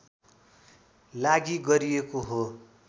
लागि गरिएको हो